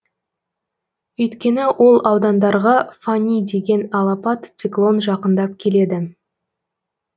өйткені ол аудандарға фани деген алапат циклон жақындап келеді